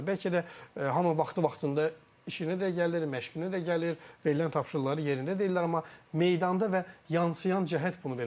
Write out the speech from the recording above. Bəlkə də hamı vaxtı-vaxtında işinə də gəlir, məşqinə də gəlir, verilən tapşırıqları yerinə də deyirlər, amma meydanda və yansıyan cəhət bunu vermir.